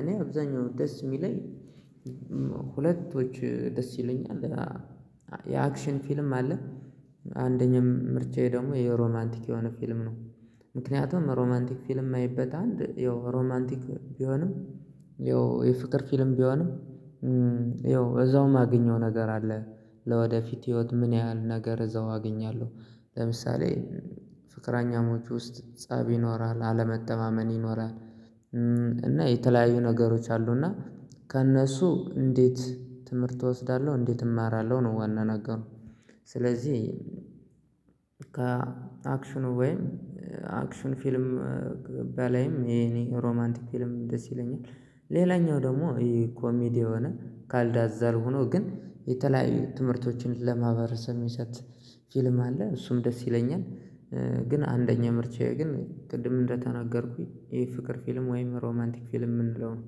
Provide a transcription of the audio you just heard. እኔ አብዛኛው ደስ የሚለኝ። ሁለቶች ደስ ይሉኛል። የአክሽን ፊልም አለ። አንደኛ ምርጫዬ ደግሞ የሮማንቲክ የሆነ ፊልም ነው። ምክንያቱም ሮማንቲክ ፊልም የማይበት አንድ ያው ሮማንቲክ ቢሆንም ያው የፍቅር ፊልም ቢሆንም ያው እዛው የማገኘው ነገር አለ። ለወደፊት ህይወት ምን ያህል ነገር እዛው አገኛለሁ። ለምሳሌ ፍቅረኛሞች ውስጥ ፀብ ይኖራል አለመተማመን ይኖራል። እና የተለያዩ ነገሮች አሉ እና ከእነሱ እንዴት ትምህርት እወስዳለሁ እንዴት እማራለሁ ነው ዋና ነገሩ። ስለዚህ ከአክሽኑ ወይም አክሽን ፊልም ባላይም የኔ ሮማንቲክ ፊልም ደስ ይለኛል። ሌላኛው ደግሞ ኮሜዲ የሆነ ካልዳዛል ሆኖ ግን የተለያዩ ትምህርቶችን ለማህበረሰብ ሚሰጥ ፊልም አለ እሱም ደስ ይለኛል። ግን አንደኛ ምርጫዬ ግን ቅድም እንደተናገርኩኝ የፍቅር ፊልም ወይም ሮማንቲክ ፊልም የምንለው ነው